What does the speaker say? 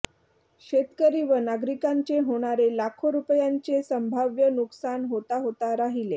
शेतकरी व नागरिकांचे होणारे लाखो रुपयांचे संभाव्य नुकसान होताहोता राहिले